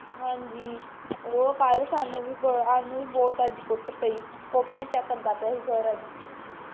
ਹਾਂਜੀ ਉਹ ਕਲ ਸਾਨੂੰ ਵੀਸਾਨੂੰ ਵੀ ਅੱਜ ਬਹੁਤ ਕੁੱਟ ਪਈ copy check ਕਰਦਾ ਪੀਯਾ ਸੀ sir ਅੱਜ